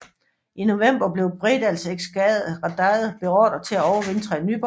I november blev Bredals eskadre beordret til at overvintre i Nyborg